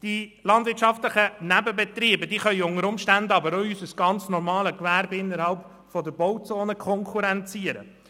Die landwirtschaftlichen Nebenbetriebe können unter Umständen aber auch unser ganz normales Gewerbe innerhalb der Bauzonen konkurrenzieren.